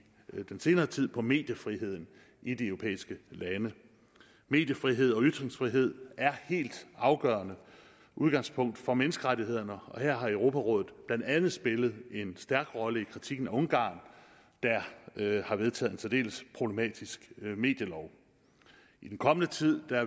den senere tid fokuseret på mediefriheden i de europæiske lande mediefrihed og ytringsfrihed er helt afgørende udgangspunkter for menneskerettighederne og her har europarådet blandt andet spillet en stærk rolle i kritikken af ungarn der har vedtaget en særdeles problematisk medielov i den kommende tid